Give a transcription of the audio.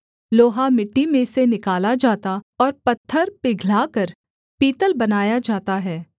लोहा मिट्टी में से निकाला जाता और पत्थर पिघलाकर पीतल बनाया जाता है